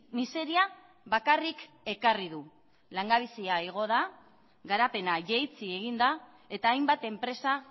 miseria bakarrik ekarri du langabezia igo da garapena jaitsi egin da eta hainbat enpresa